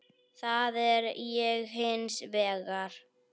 Það er ég hins vegar.